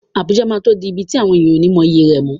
Abuja máa tó di ibi tí àwọn ènìyàn ó ní mọyì rẹ̀ mọ́.